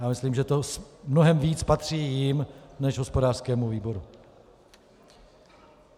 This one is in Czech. Já myslím, že to mnohem víc patří jim než hospodářskému výboru.